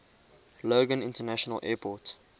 logan international airport